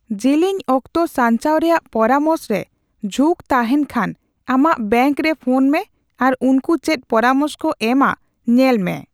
ᱡᱮᱞᱮᱧ ᱚᱠᱛᱚ ᱥᱟᱧᱪᱟᱣ ᱨᱮᱭᱟᱜ ᱯᱚᱨᱟᱢᱚᱥ ᱨᱮ ᱡᱷᱩᱸᱠ ᱛᱟᱸᱦᱮᱱ ᱠᱷᱟᱱ ᱟᱢᱟᱜ ᱵᱮᱝᱠ ᱨᱮ ᱯᱷᱚᱱ ᱢᱮ ᱟᱨ ᱩᱱᱠᱩ ᱪᱮᱫ ᱯᱚᱨᱟᱢᱚᱥ ᱠᱚ ᱮᱢᱟ ᱧᱮᱞ ᱢᱮ ᱾